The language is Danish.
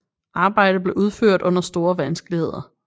Arbejdet blev udført under store vanskeligheder